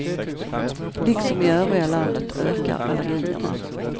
Liksom i övriga landet ökar allergierna.